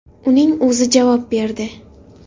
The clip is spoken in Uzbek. Uning o‘zi javob berdi.